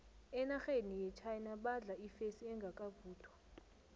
enarheni yechina badla ifesi engakavuthwa